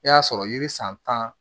I y'a sɔrɔ yiri san tan